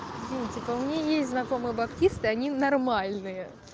ну типа у меня есть знакомые баптисты они нормальные